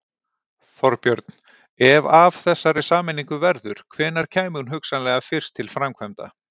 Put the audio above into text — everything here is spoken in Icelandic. Þorbjörn: Ef af þessari sameiningu verður, hvenær kæmi hún hugsanlega fyrst til framkvæmda?